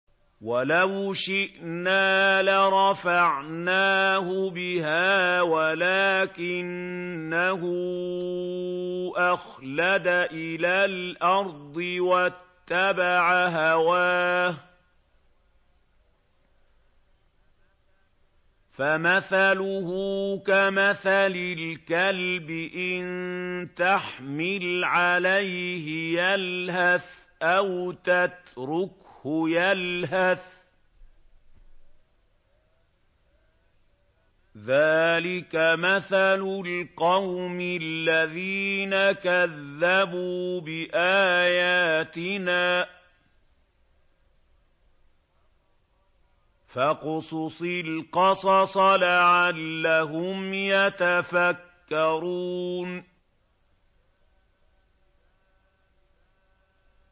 وَلَوْ شِئْنَا لَرَفَعْنَاهُ بِهَا وَلَٰكِنَّهُ أَخْلَدَ إِلَى الْأَرْضِ وَاتَّبَعَ هَوَاهُ ۚ فَمَثَلُهُ كَمَثَلِ الْكَلْبِ إِن تَحْمِلْ عَلَيْهِ يَلْهَثْ أَوْ تَتْرُكْهُ يَلْهَث ۚ ذَّٰلِكَ مَثَلُ الْقَوْمِ الَّذِينَ كَذَّبُوا بِآيَاتِنَا ۚ فَاقْصُصِ الْقَصَصَ لَعَلَّهُمْ يَتَفَكَّرُونَ